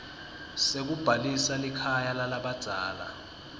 sekubhalisa likhaya lalabadzala